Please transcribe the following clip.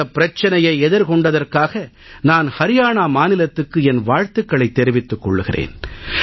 இந்தப் பிரச்சனையை எதிர்கொண்டதற்காக நான் அரியானா மாநிலத்துக்கு என் வாழ்த்துக்களைத் தெரிவித்துக் கொள்கிறேன்